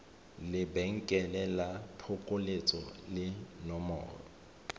lebenkele la phokoletso le nomoro